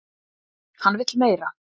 Hann vill meira!